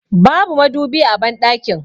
Babu madubi a banɗakin